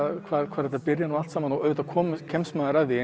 hvar þetta byrjar allt saman auðvitað kemst maður að því